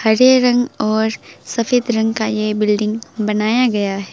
हरे रंग और सफेद रंग का ये बिल्डिंग बनाया गया है।